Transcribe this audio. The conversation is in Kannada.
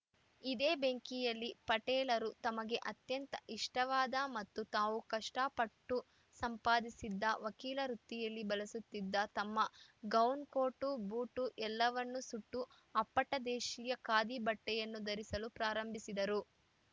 ಇದೇ ಬೆಂಕಿಯಲ್ಲಿ ಪಟೇಲರು ತಮಗೆ ಅತ್ಯಂತ ಇಷ್ಟವಾದ ಮತ್ತು ತಾವು ಕಷ್ಟಪಟ್ಟು ಸಂಪಾದಿಸಿದ್ದ ವಕೀಲ ವೃತ್ತಿಯಲ್ಲಿ ಬಳಸುತ್ತಿದ್ದ ತಮ್ಮ ಗೌನ್‌ ಕೋಟು ಬೂಟು ಎಲ್ಲವನ್ನು ಸುಟ್ಟು ಅಪ್ಪಟ ದೇಶೀಯ ಖಾದಿ ಬಟ್ಟೆಯನ್ನು ಧರಿಸಲು ಪ್ರಾರಂಭಿಸಿದರು